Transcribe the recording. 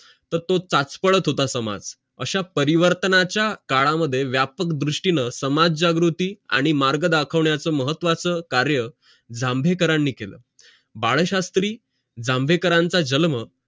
तर तो चाचपडत होता समाज अशा परिवर्तनाचा काळा मध्ये व्यापक दृष्टीनं समाज जागृती आणि मार्ग दाखवण्याचं महत्वाचं कार्य जांभेकरांनी केलं बाळशात्री जांभेकरांचं जन्म